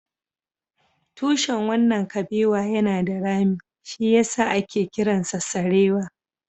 Tushen wannan kabewa yana da rami, shi ya sa ake kiransa sarewa